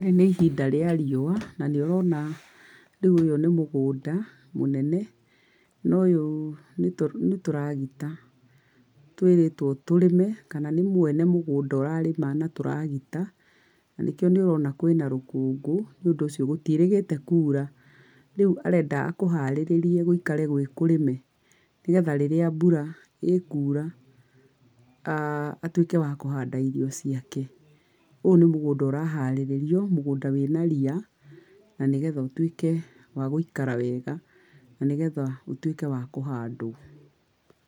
Rĩrĩ nĩ ihinda rĩa riũwa, na nĩ ũrona rĩũ ũyũ nĩ mũgũnda mũnene. Na ũyũ nĩ tũragĩta, twĩrĩtwo tũrĩme, kana nĩ mwene mũgũnda ũrarĩma na tũragita, na nĩkio nĩ ũroma kwĩna rũkũngũ. Nĩ ũndũ ũcio gũtiĩrĩgĩte kuura. Rĩu arenda akũharĩrĩrie gũikare gwĩkũrĩme, nĩgetha rĩrĩa mbura ĩkũra atuĩke wa kũhanda irio ciake. Ũyũ nĩ mũgũnda ũraharĩrĩrio, mũgũnda wĩna ria, na nĩgetha ũtuĩke wa gũikara wega, na nĩgetha ũtuĩke wa kũhandwo.